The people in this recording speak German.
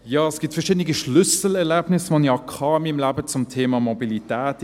Ja, es gibt verschiedene Schlüsselerlebnisse, die ich in meinem Leben zum Thema Mobilität hatte.